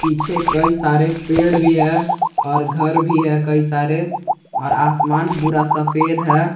पीछे कई सारे पेड़ भी है और घर भी है कई सारे और आसमान पूरा सफेद है।